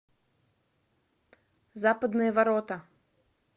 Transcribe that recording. западные ворота